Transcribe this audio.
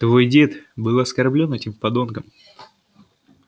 твой дед был оскорблён этим подонком